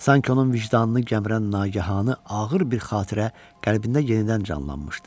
Sanki onun vicdanını gəmirən nagahanı ağır bir xatirə qəlbində yenidən canlanmışdı.